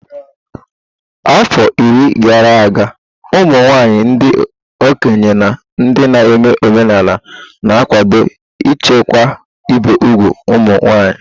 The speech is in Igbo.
Afọ iri gara aga, ụmụ nwanyị ndị okenye na ndị na-eme omenala na-akwado ichekwa ibi úgwù ụmụ nwanyị.